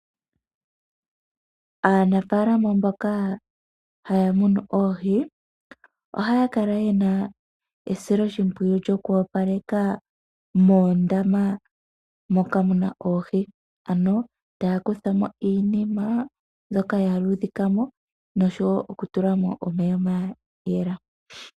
Aanafalaama mboka haya tekula oohi, ohaya kala yena esiloshipwiyu lyokuwopaleka moondama moka muna oohi. Ano taya kutha mo iinima mbyoka ya luudhika mo , noshowo okutula mo omeya ga yela .